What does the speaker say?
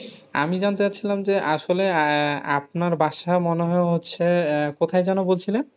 আমি যানতে চাচ্ছিলাম যে আসলে আহ আপনার বাসা মনে হয় হচ্ছে আহ কথায় যেন বলছিলেন?